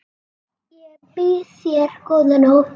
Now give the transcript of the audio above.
Ég býð þér góða nótt.